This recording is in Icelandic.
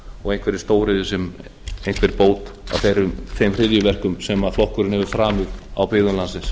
og einhverri stóriðju sem einhverja bót á þeim hryðjuverkum sem flokkurinn hefur framið á byggðum landsins